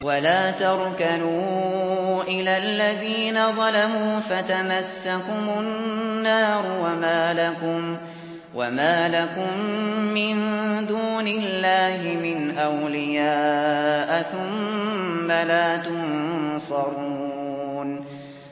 وَلَا تَرْكَنُوا إِلَى الَّذِينَ ظَلَمُوا فَتَمَسَّكُمُ النَّارُ وَمَا لَكُم مِّن دُونِ اللَّهِ مِنْ أَوْلِيَاءَ ثُمَّ لَا تُنصَرُونَ